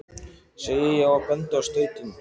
segi ég og bendi á stautinn.